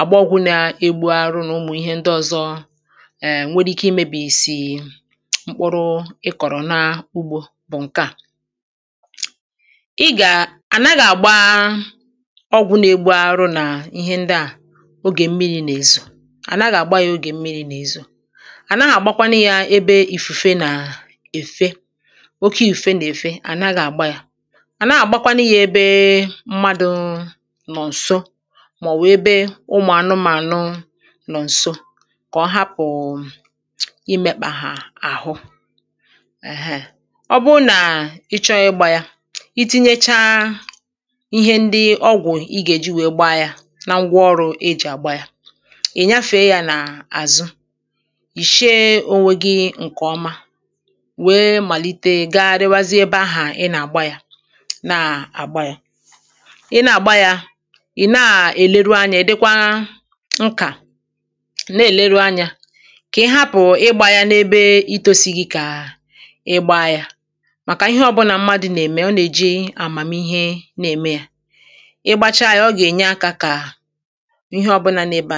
àgba ọgwụ na-egbu arụrụ nà ụmụ̀ ihe ndị ọzọ nwere ike imebìsì mkpụrụ ị kọ̀rọ̀ nà ugbo bù ǹke à ị gà ànaghị̀̄ àgba ọgwụ na-egbu arụrụ nà ihe ndị à ogè mmirī nà-ezò ànaghị̀̄ àgba ya ogè mmirī nà ezò ànaghị̀̄ àgbakwanụ ya ebe ìfùfe nà efe oke ìfùfe nà-efe ànaghị̀̄ àgba ya ànaghị̀̄ àgbakwanụ ya ebe mmadū nò ǹso màɔ̀bù ebe ụmụ̀anụmànụ nò ǹso kà ọ hapù imekpà hà àhụ èhèè ọ bụrụ nà ị chọọ ịgba ya I tinyechaa ihe ndị ọgwụ ị gà-èji wèe gba ya na ngwaọrụ ị gà-èji wèe gba ya ì nyafèe ya nà-àzụ yìchie onwe gi ǹkè ọma wèe màlite gaghariwazie ebē ahù ị nà-àgba ya na-àgba ya ị na-àgba ya ị̀ na-èleru anya Ì dikwa nkà ị̀ na-èleru anya kà ị hapù igba ya nà-ebe itosighi kà ị gbaa ya màkà ihe ọbulà mmadù nà-eme ọ nà-èji àmàmihe ème ya ị gbachaa ya ọ gà-enye akā kà ihe obụlà nọ ebe ahù